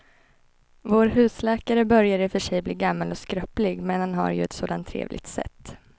Vår husläkare börjar i och för sig bli gammal och skröplig, men han har ju ett sådant trevligt sätt!